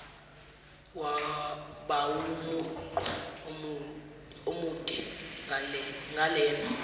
bawumugqa omude ngalena